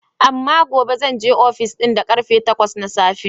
Amma gobe zan je ofis din da ƙarfe takwas na safe.